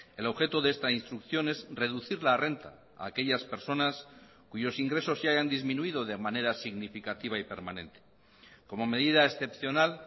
el objeto de esta instrucción es reducir la renta a aquellas personas cuyos ingresos se hayan disminuido de manera significativa y permanente como medida excepcional